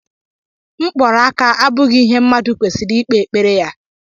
Mkpọrọ aka abughi ihe mmadụ kwesịrị ikpe ekpere ya